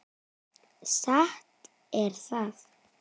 Satt er það.